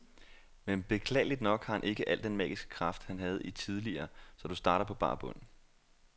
Men beklageligt nok har han ikke al den magiske kraft, han havde i tidligere, så du starter på bar bund.